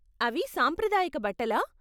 అవి సాంప్రదాయక బట్టలా?